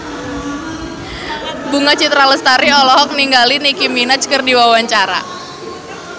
Bunga Citra Lestari olohok ningali Nicky Minaj keur diwawancara